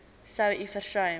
sou u versuim